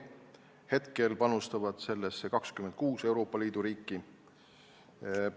Praegu panustab sellesse 26 Euroopa Liidu riiki.